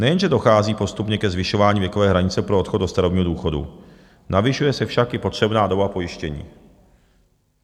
Nejenže dochází postupně ke zvyšování věkové hranice pro odchod do starobního důchodu, navyšuje se však i potřebná doba pojištění.